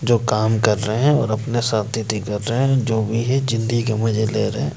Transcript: जो काम कर रहे हैं--